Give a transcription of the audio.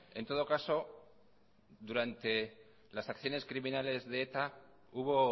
en todo caso durante las acciones criminales de eta hubo